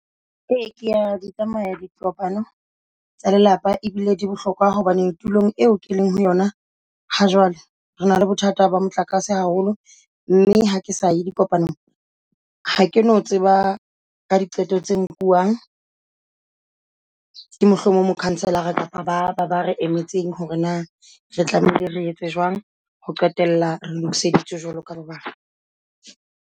Ee, kea di tsamaya dikopano tsa lelapa ebile di bohlokwa hobane tulong eo ke leng ho yona. Ha jwale re na le bothata ba motlakase haholo mme ha ke sa ya dikopanong ha ke no tseba ka diqeto tse nkuang. Ke mohlomong ho mo councelor-ara kapa ba ba re emetseng hore na re tlamehile re etse jwang ho qetela re lokiseditswe jwalo ka ba bang.